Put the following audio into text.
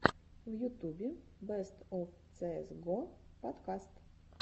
в ютубе бест оф цеэс го подкаст